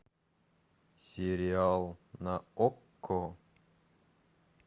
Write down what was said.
сериал на окко